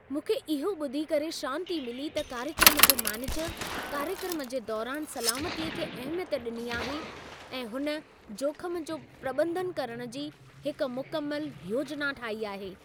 मूंखे इहो ॿुधी करे शांती मिली त कार्यक्रम जो मैनेजर कार्यक्रम जे दौरान सलामतीअ खे अहिमियत ॾिनी आहे ऐं हुन जोख़म जो प्रॿंधन करणु जी हिकु मुकमल योजना ठाही आहे।